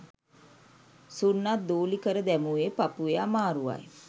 සුන්නත් දූලි කර දැමූයේ පපුවේ අමාරුවයි